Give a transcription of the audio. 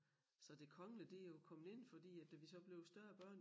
Så det kongelige det jo kommet ind fordi at da vi så blev større børn